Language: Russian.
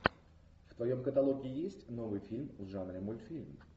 в твоем каталоге есть новый фильм в жанре мультфильм